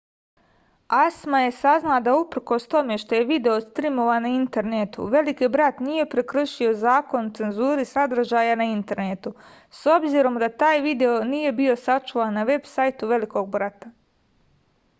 acma je saznala da uprkos tome što je video strimovan na internetu veliki brat nije prekršio zakon o cenzuri sadržaja na internetu s obzirom da taj video nije bio sačuvan na veb sajtu velikog brata